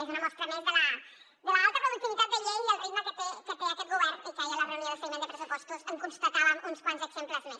és una mostra més de l’alta productivitat de llei i el ritme que té aquest govern i que ahir a la reunió de seguiment de pressupostos en constatàvem uns quants exemples més